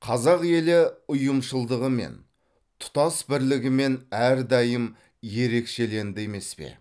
қазақ елі ұйымшылдығымен тұтас бірлігімен әрдайым ерекшеленді емес пе